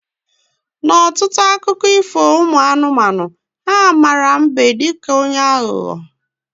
Na ọtụtụ akụkọ ifo ụmụ anụmanụ, ha mara mbe dịka onye aghụghọ